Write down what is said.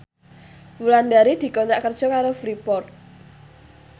Wulandari dikontrak kerja karo Freeport